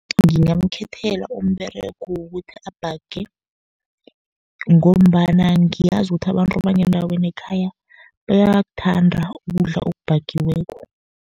Ngingamkhethela umberego wokuthi abhage, ngombana ngiyazi ukuthi abantu bangendaweni ekhaya, bayakuthanda ukudla okubhagiweko.